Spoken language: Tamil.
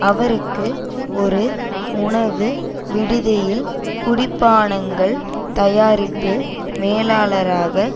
அவருக்கு ஒரு உணவு விடுதியில் குடிபானங்கள் தயாரிப்பு மேலாளராக